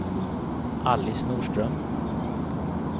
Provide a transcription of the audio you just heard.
Alice Norström